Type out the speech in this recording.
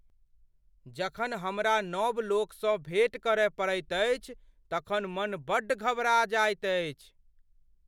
जखन हमरा नब लोकसँ भेट करय पड़ैत अछि तखन मन बड़ घबरा जाइत अछि।